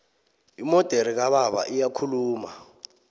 imodere kababa iyakhuluma